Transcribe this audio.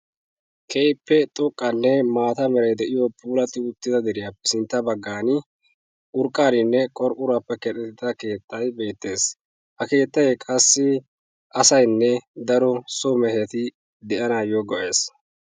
keehippe xoqqanne maata meray de'iyo puulatti uttida deriyaappe sintta bagaani, qorqqoruwappe keexetida keettay beetees. ha keettay qassi asaynne daro so mehetti daanawu maadoosona.